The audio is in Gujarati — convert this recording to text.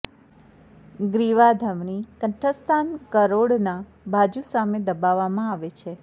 ગ્રીવા ધમની કંઠસ્થાન કરોડના બાજુ સામે દબાવવામાં આવે છે